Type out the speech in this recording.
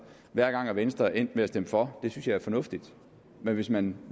hver gang er venstre endt med at stemme for det synes jeg er fornuftigt men hvis man